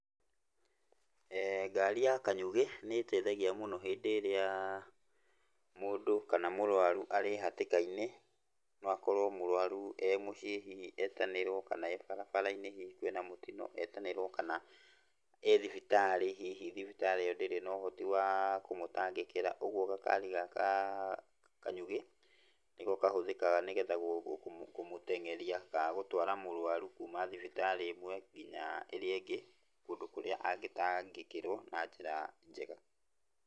Ngari ya kanyugĩ nĩ ĩteithagia mũno hĩndĩ ĩrĩa mũndũ kana mũrũaru arĩ hatĩka-inĩ. No akorwo mũrũaru e mũciĩ hihi etanĩrwo, kana e barabara-inĩ hihi kwĩna mũtino, etanĩrwo, kana e thibitarĩ hihi thibitarĩ ĩyo ndĩrĩ na ũhoti wa kũmũtangĩkĩra. Ũguo gakari gaka ka kanyugĩ nĩko kahũthĩkaga nĩgetha kũmũteng'eria ka gũtwara mũrũaru kuuma thibitarĩ ĩmwe nginya ĩrĩa ĩngĩ, kundũ kũrĩa angĩtangĩkĩrwo na njĩra njega.